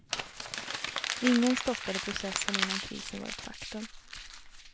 Ingen stoppade processen innan krisen var ett faktum.